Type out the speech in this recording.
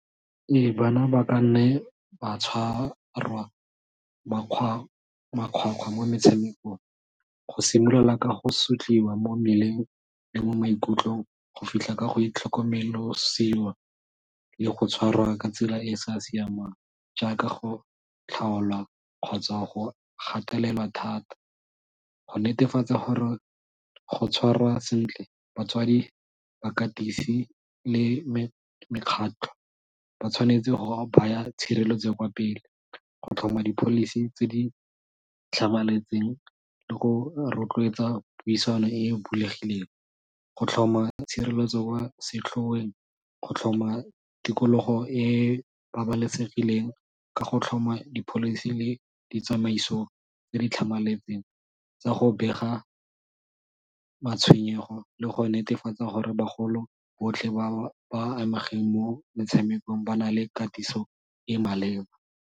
Ee bana ba ka nne ba tshwarwa makgwakgwa mo metshamekong, go simolola ka go sotliwa mo mmeleng le mo maikutlong go fitlha ka go itlhokomelosiwa le go tshwarwa ka tsela e e sa siamang jaaka go tlhaolwa kgotsa go gatelelwa thata. Go netefatsa gore go tshwarwa sentle batswadi, bakatisi le mekgatlho ba tshwanetse go baya tshireletso kwa pele go tlhoma di-policy tse di tlhamaletseng le go rotloetsa puisano e e bulegileng, go tlhoma tshireletso kwa setlhoweng, go tlhoma tikologo e e babalesegileng ka go tlhoma di-policy le ditsamaiso tse di tlhamaletseng tsa go bega matshwenyego le go netefatsa gore bagolo botlhe ba ba amegeng mo metshamekong ba na le katiso e maleba.